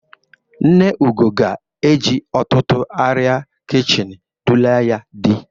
Nne Ugo ga-eji ọtụtụ arịa kichini dula ya dị.